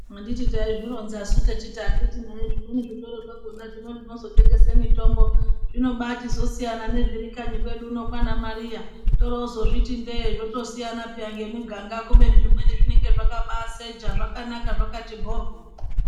Anditi taizvironzasu techiti akiti nai zvitoro zvakona zvino zvinozotengesa mitombo zvinoba chizosiyana ngezviri kanyi kwedu kwana Mariya torozozviti ndeee zvotosiyana peya ngemwiganga kubeni zvimweni zvinenge zvakaba secha zvakanaka zvakati bhoryo.